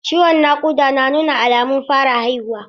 Ciwon naƙuda yana nuna alamun fara haihuwa.